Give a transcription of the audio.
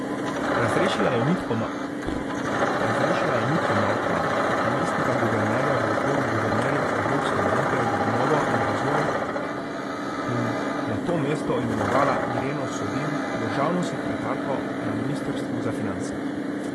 Razrešila je Mitjo Mavka kot namestnika guvernerja v odboru guvernerjev Evropske banke za obnovo in razvoj in na to mesto imenovala Ireno Sodin, državno sekretarko na ministrstvu za finance.